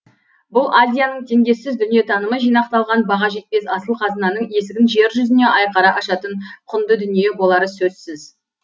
бұл азияның теңдессіз дүниетанымы жинақталған баға жетпес асыл қазынаның есігін жер жүзіне айқара ашатын құнды дүние болары сөзсіз